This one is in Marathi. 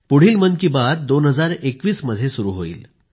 पुढील मन की बात 2021 मध्ये सुरू होईल